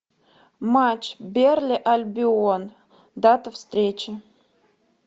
матч бернли альбион дата встречи